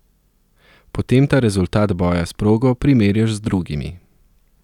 Potem ta rezultat boja s progo primerjaš z drugimi.